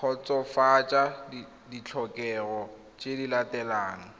kgotsofatsa ditlhokego tse di latelang